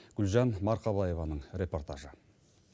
гүлжан марқабаеваның репортажы